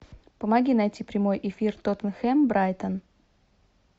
помоги найти прямой эфир тоттенхэм брайтон